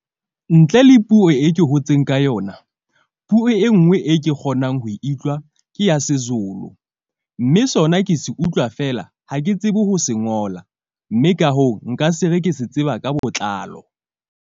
Ntle le puo e ke hotseng ka yona puo e nngwe e ke kgonang ho iutlwa ke ya seZulu. Mme sona ke se utlwa feela. Ha ke tsebe ho se ngola, mme ka hoo, nka se re ke se tseba ka botlalo.